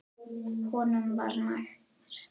Honum var nær.